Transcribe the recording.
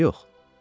Ya yox?